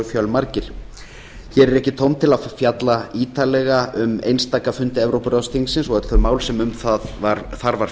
fjölmargir hér er ekki tóm til að fjalla ítarlega um einstaka fundi evrópuráðsþingsins og öll þau mál sem um þar var